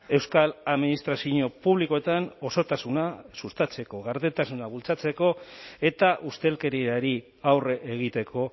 euskal administrazio publikoetan osotasuna sustatzeko gardentasuna bultzatzeko eta ustelkeriari aurre egiteko